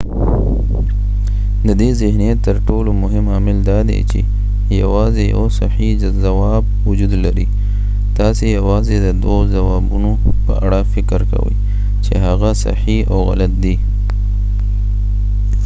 ددې ذهنیت تر ټولو مهم عامل دادې چې یواځې یو صحیح ځواب وجود لري تاسې یواځې ددوه ځوابونو په اړه فکر کوئ چې هغه صحیح او غلط دی